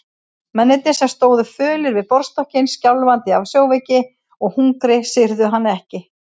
Mennirnir sem stóðu fölir við borðstokkinn, skjálfandi af sjóveiki og hungri, syrgðu hann ekki.